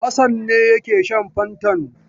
Hassan ne yake shan fantan.